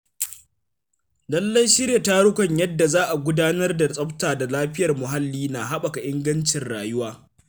Lallai Shirya tarukan yadda za a gudanar da tsafta da lafiyar muhalli na haɓaka ingancin rayuwa.